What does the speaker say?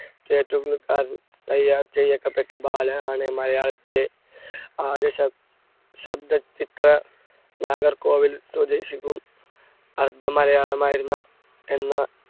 ബാലനാണ് മലയാളത്തിലെ ആദ്യ ശ~ശബ്‌ദ ചിത്ര നാഗർകോവിൽ സ്വദേശിക്കും, അർദ്ധ മലയാളമായിരുന്ന എന്ന